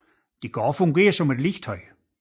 De kan også fungere som legetøj